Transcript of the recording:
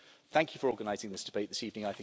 Thank you for organising this debate this evening.